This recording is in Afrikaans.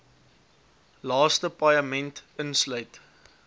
laaste paaiement insluit